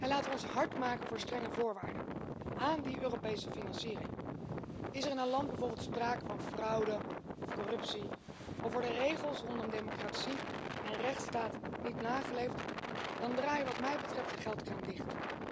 Laten we ons hard maken voor strenge voorwaarden aan die Europese financiering. Is er in een land bijvoorbeeld sprake van fraude of corruptie, of worden de regels rondom democratie en rechtsstaat niet nageleefd, draai dan wat mij betreft de geldkraan dicht.